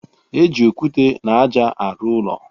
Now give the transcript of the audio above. E ji okwute na aja a ruụ ụlọ